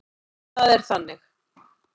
Það er þannig.